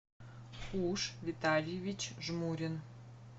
уж витальевич жмурин